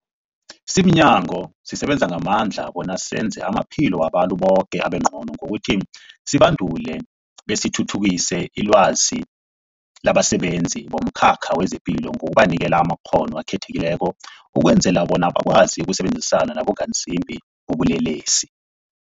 Simnyango, sisebenza ngamandla bona senze amaphilo wabantu boke abengcono ngokuthi sibandule besithuthukise ilwazi labasebenzi bomkhakha wezamaphilo ngokubanikela amakghono akhethekileko ukwenzela bona bakwazi ukusebenzisana nabongazimbi bobulelesi.